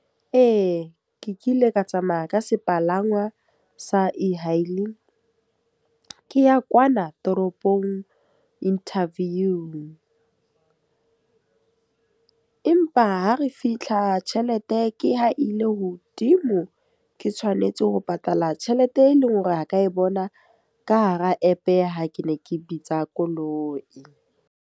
Ee, ke kile ka tsamaya ka sepalangwa sa e-hailing. Ke ya kwana toropong interview. Empa ha re fitlha tjhelete ke ho ile hodimo, ke tshwanetse ho patala tjhelete e leng hore ha ka e bona ka hara app ha ke ne ke bitsa koloi.